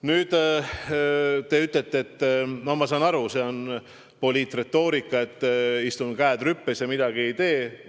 No ma saan aru, et te ütlete, et see on poliitretoorika, et ma istun, käed rüpes, ja ei tee midagi.